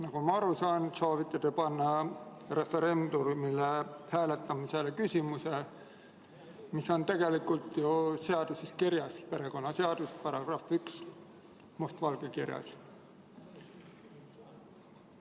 Nagu ma aru saan, soovite te panna referendumil hääletamisele küsimuse, mis on tegelikult ju seaduses kirjas, perekonnaseaduse §‑s 1 on see must valgel kirjas.